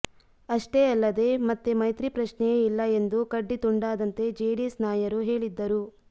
ಅಷ್ಟೇ ಅಲ್ಲದೇ ಮತ್ತೆ ಮೈತ್ರಿ ಪ್ರಶ್ನೆಯೇ ಇಲ್ಲ ಎಂದು ಕಡ್ಡಿ ತುಂಡಾದಂತೆ ಜೆಡಿಎಸ್ ನಾಯರು ಹೇಳಿದ್ದರು